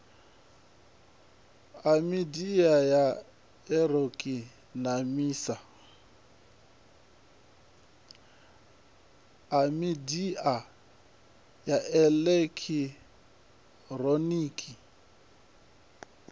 a midia ya elekitironiki nemisa